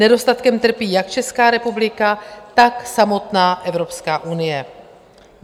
Nedostatkem trpí jak Česká republika, tak samotná Evropská unie.